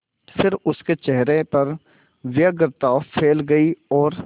फिर उसके चेहरे पर व्यग्रता फैल गई और